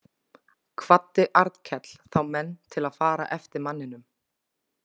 Kvaddi Arnkell þá menn til að fara eftir manninum.